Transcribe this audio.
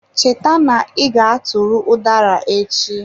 Cheta na iga tụtụrụ udara echi.